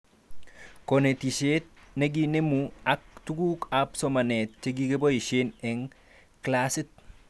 Konetishet nekinemu ak tuguk ab somanet chekiboishee eng klasit